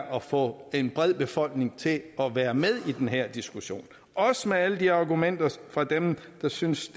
at få en bred del af befolkningen til at være med i den her diskussion også med alle de argumenter fra dem der synes